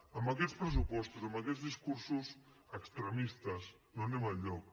amb aquests pressupostos amb aquests discursos extremistes no anem enlloc